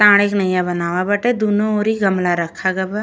तारे के नैया बनावा बाटे। दोनों ओरी गमला रखा गवा।